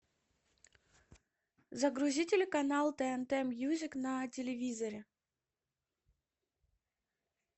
загрузи телеканал тнт мьюзик на телевизоре